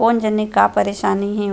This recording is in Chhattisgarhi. कौन जाने का परेशानी हे।